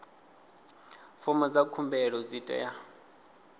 fomo dza khumbelo dzi tea